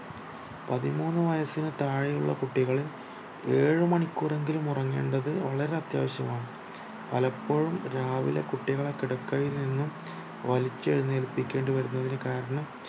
പതിമൂന്നു വയസിനു താഴെയുള്ള കുട്ടികൾ ഏഴ് മണിക്കൂറെങ്കിലും ഉറങ്ങേണ്ടത് വളരെ അത്യാവിശ്യമാണ് പലപ്പോഴും രാവിലെ കുട്ടികളേ കിടക്കയിൽ നിന്ന് വലിച്ചെഴുന്നേൽപിക്കേണ്ടി വരുന്നതിന്റെ കാരണം